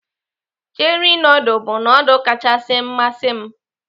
Cheri nudul bụ nudul kachasị masị m.